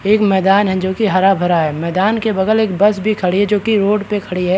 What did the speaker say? एक मैदान है जो की हरा-भार है मैदान के बगल एक बस भी खड़ी जो की रोड पे खड़ी है।